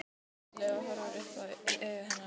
Hann kinkar kolli og horfir upp í augu hennar.